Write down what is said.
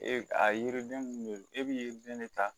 E a yiriden mun be e b'i den de ta